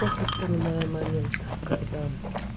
после вспоминаем момент когда